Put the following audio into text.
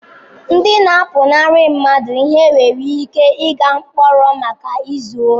Ndị na-apụnara mmadụ ihe nwere ike ịga mkpọrọ maka izu ohi.